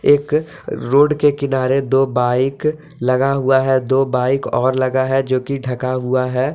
एक रोड के किनारे दो बाइक लगा हुआ है दो बाइक और लगा है जो की ढका हुआ हैं।